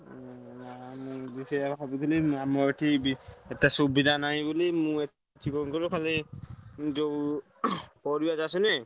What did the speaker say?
ନା ମୁ ବି ସେୟା ଭାବୁଥିଲି ଆମର ଏଠି ଏତେ ସୁବିଧା ନାଇଁ ବୋଲି ମୁଁ ଏଠି କଣ କହିଲ ଖାଲି ଯୋଉ ପରିବା ଚାଷ ନୁହେଁ।